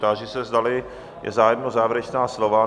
Táži se, zdali je zájem závěrečná slova?